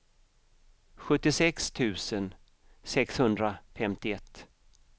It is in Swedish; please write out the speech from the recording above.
sjuttiosex tusen sexhundrafemtioett